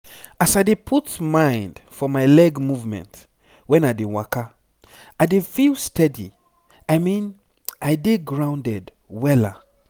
as i dey put mind for my leg movement when i dey waka i dey feel steady i mean i dey grounded wella.